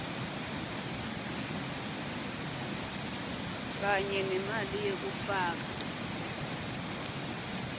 kanye nemali yekufaka